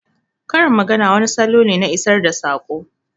Karin magana wani salo ne na isar da saƙo